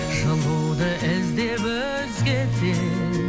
жылуды іздеп өзгеден